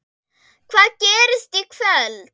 Hvað gerist í kvöld?